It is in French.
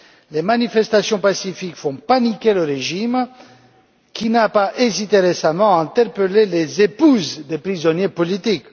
Les manifestations pacifiques font paniquer le régime, qui n'a pas hésité récemment à interpeller les épouses des prisonniers politiques.